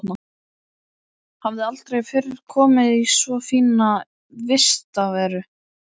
Hafði aldrei fyrr komið í svo fína vistarveru.